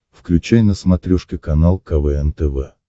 включай на смотрешке канал квн тв